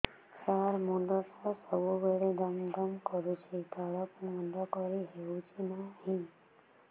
ସାର ମୁଣ୍ଡ ଟା ସବୁ ବେଳେ ଦମ ଦମ କରୁଛି ତଳକୁ ମୁଣ୍ଡ କରି ହେଉଛି ନାହିଁ